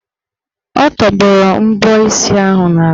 Ọ tọgbọrọ mbọ isi ahụ n'ala.